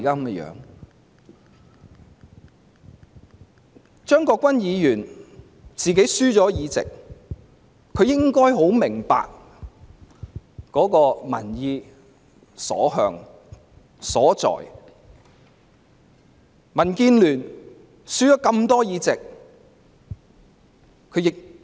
既然張國鈞議員輸掉議席，他也應明白到民意的所向和所在。